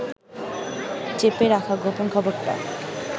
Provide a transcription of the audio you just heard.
চেপে রাখা গোপন খবরটা